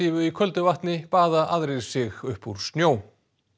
í köldu vatni baða aðrir sig upp úr snjó